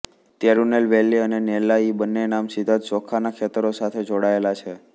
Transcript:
તિરુનેલ વેલી અને નેલ્લા ઇ બન્ને નામ સીધા જ ચોખાંના ખેતરો સાથે જોડાયેલા છે